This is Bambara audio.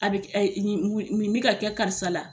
A bɛ k ni wi ni b'i ka kɛ karisa la.